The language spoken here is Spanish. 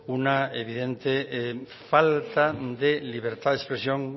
una evidente falta de libertad de expresión